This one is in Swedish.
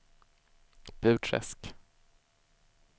Burträsk